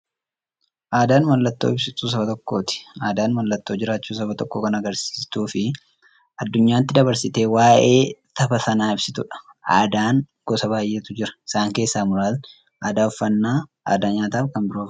Aadaan mallattoo ibsituu saba tokkooti. Aadaan mallattoo jiraachuu saba tokkoo kan agarsiistufi addunyyaatti dabarsitee waa'ee saba sanaa ibsitudha. Aadaan gosa baay'eetu jira. Isaan keessaa muraasni aadaa uffannaa aadaa nyaataafi kan biroo fa'i.